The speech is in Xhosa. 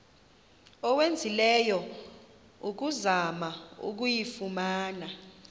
owenzileyo ukuzama ukuyifumana